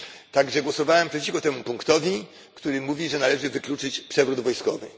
Tak że głosowałem przeciwko temu punktowi, który mówi, że należy wykluczyć przewrót wojskowy.